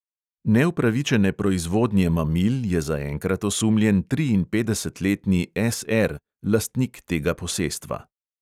Neupravičene proizvodnje mamil je zaenkrat osumljen triinpetdesetletni S R, lastnik tega posestva.